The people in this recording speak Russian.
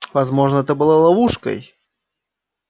возможно это было ловушкой